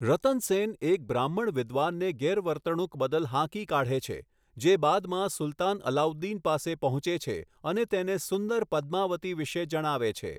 રતન સેન એક બ્રાહ્મણ વિદ્વાનને ગેરવર્તણૂક બદલ હાંકી કાઢે છે, જે બાદમાં સુલ્તાન અલાઉદ્દીન પાસે પહોંચે છે અને તેને સુંદર પદ્માવતી વિશે જણાવે છે.